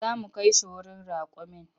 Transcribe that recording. Za mu kai shi wurin raƙumin.